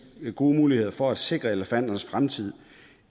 gode muligheder for at sikre elefanternes fremtid